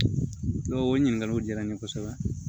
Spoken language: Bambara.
N'o ɲininkaliw diyara n ye kosɛbɛ